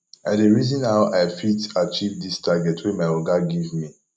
i dey reason how i go fit achieve dis target wey my oga give me